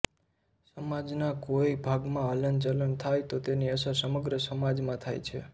સમાજનાં કોઈ ભાગમાં હલનચલન થાય તો તેની અસર સમગ્ર સમાજમાં થાય છે